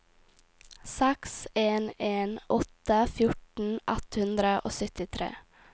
seks en en åtte fjorten ett hundre og syttitre